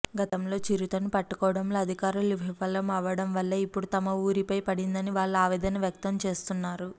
గతంలో చిరుతను పట్టుకోవడంలో అధికారులు విఫలం అవడం వల్లే ఇప్పుడు తమ వూరిపై పడిందని వాళ్లు ఆవేదన వ్యక్తం చేస్తున్నారు